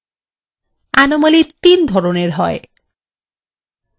anomaliy তিন ধরনের হয়